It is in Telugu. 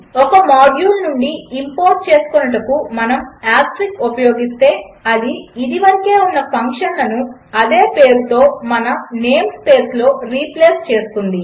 ఒక మాడ్యూల్ నుండి ఇంపోర్ట్ చేసుకొనుటకు మనము ఆస్టెరిస్క్ ఉపయోగిస్తే అది ఇదివరకే ఉన్న ఫంక్షన్లను అదే పేరుతో మన నేం స్పేస్లో రీప్లేస్ చేస్తుంది